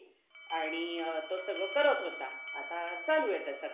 आणि तो सगळं करत होता आता चालू आहे त्याचं